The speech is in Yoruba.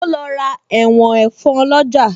O lọ ra ẹ̀wọ̀n ẹ̀fọn lọ́jà